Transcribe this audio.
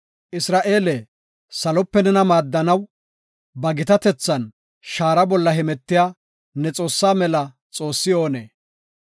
Isra7eele, salope nena maaddanaw, ba gitatethan shaara bolla hemetiya, ne Xoossaa mela xoossi oonee?